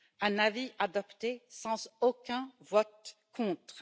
un avis adopté sans aucun vote contre.